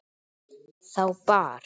Þá bar